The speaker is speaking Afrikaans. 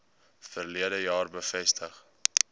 verlede jaar bevestig